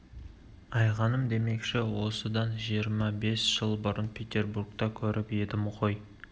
айғаным демекші оны осыдан жиырма бес жыл бұрын петербургта көріп едім ғой